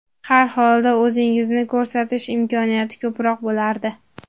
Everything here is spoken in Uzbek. Har holda o‘zingizni ko‘rsatish imkoniyati ko‘proq bo‘lardi.